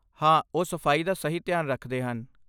ਹਾਂ, ਉਹ ਸਫਾਈ ਦਾ ਸਹੀ ਧਿਆਨ ਰੱਖਦੇ ਹਨ।